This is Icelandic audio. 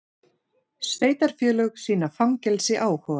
Sveitarfélög sýna fangelsi áhuga